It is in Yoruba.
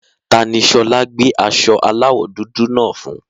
Ta ni Ṣọlá gbé aṣọ aláwọ̀ dúdú náà fún?